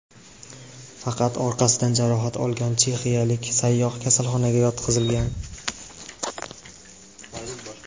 Faqat orqasidan jarohat olgan chexiyalik sayyoh kasalxonaga yotqizilgan.